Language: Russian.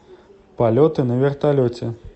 полеты на вертолете